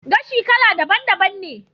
Gashi kala daban daban ne